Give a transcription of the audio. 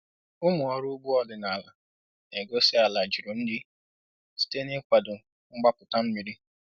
Ụmụ ọrụ ugbo ọdịnala na-egosi ala juru nri site n’ịkwado mgbapụta mmiri